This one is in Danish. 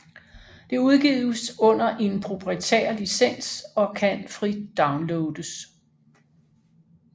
Det udgives under en proprietær licens og kan frit downloades